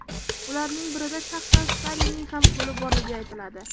Ularning birida shaxsan Stalinning ham qo‘li borligi aytiladi.